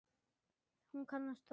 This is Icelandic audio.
Hún kannast þó við það.